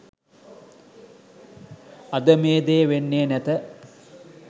අද මේ දේ වෙන්නේ නැත.